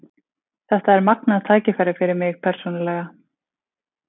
Þetta er magnað tækifæri fyrir mig persónulega.